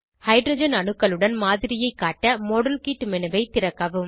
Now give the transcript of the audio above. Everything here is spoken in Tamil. ஹைட்ரஜன் அணுக்களுடன் மாதிரியைக் காட்ட மாடல்கிட் மேனு ஐ திறக்கவும்